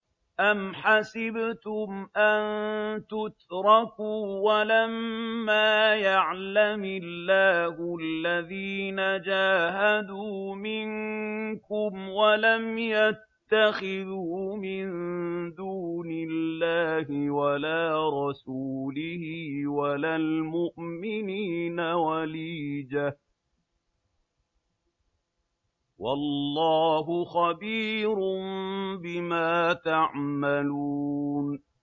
أَمْ حَسِبْتُمْ أَن تُتْرَكُوا وَلَمَّا يَعْلَمِ اللَّهُ الَّذِينَ جَاهَدُوا مِنكُمْ وَلَمْ يَتَّخِذُوا مِن دُونِ اللَّهِ وَلَا رَسُولِهِ وَلَا الْمُؤْمِنِينَ وَلِيجَةً ۚ وَاللَّهُ خَبِيرٌ بِمَا تَعْمَلُونَ